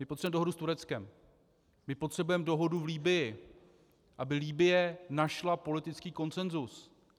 My potřebujeme dohodu s Tureckem, my potřebujeme dohodu v Libyi, aby Libye našla politický konsenzus.